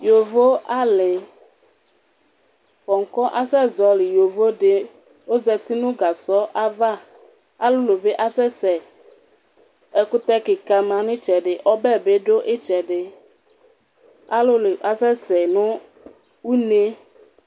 Yavoali, kɔkɔ asɛzɔlɩ yovodi ozati nʋ gasɔ ava alʋlʋ ni asɛsɛ Ɛkʋtɛ kika manʋ itsɛdi ɔbɛbi dʋ itsɛdi Alʋlʋ asɛsɛ nʋ une